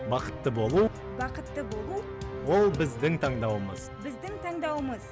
бақытты болу бақытты болу ол біздің таңдауымыз біздің таңдауымыз